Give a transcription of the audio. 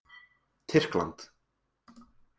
Tyrkland